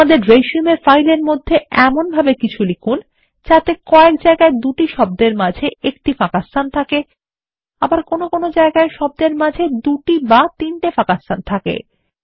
আমাদের রিসিউম ফাইলের মধ্যে এমনভাবে কিছু লিখুন যাতে কয়েক জায়গায় দুটি শব্দের মাঝে একটি ফাঁকাস্থান থাকে আবার কোনো জায়গায় শব্দের মাঝে দুটি বা তিনটি ফাঁকাস্থান থাকে